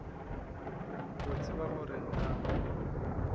o tseba gore na ba